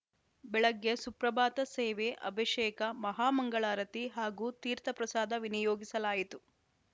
ಬೆಳಗ್ಗೆ ಸುಪ್ರಭಾತ ಸೇವೆ ಅಭಿಷೇಕ ಮಹಾಮಂಗಳಾರತಿ ಹಾಗೂ ತೀರ್ಥಪ್ರಸಾದ ವಿನಿಯೋಗಿಸಲಾಯಿತು